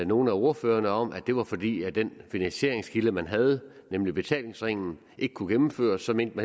nogle af ordførerne om at det var fordi den finansieringskilde man havde nemlig betalingsringen ikke kunne gennemføres så mente